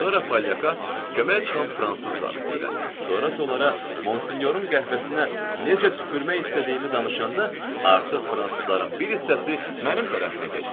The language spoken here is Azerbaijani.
Sonra polyaka kömək çıxan fransız zabiti ilə, sonra isə onlara Monsinyorun qəhvəsinə necə tüpürmək istədiyimi danışanda artıq fransızların bir hissəsi mənim tərəfimə keçdi.